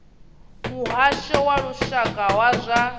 muhasho wa lushaka wa zwa